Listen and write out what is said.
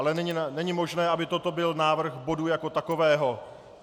Ale není možné, aby toto byl návrh bodu jako takového.